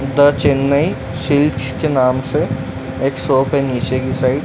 The Chennai silk के नाम से एक शॉप है नीचे की साइड ।